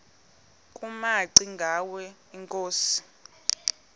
kumaci ngwana inkosi